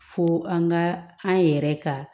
Fo an ka an yɛrɛ ka